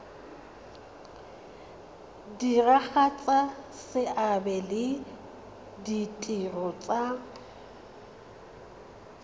diragatsa seabe le ditiro tsa